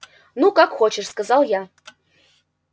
ну как хочешь сказал я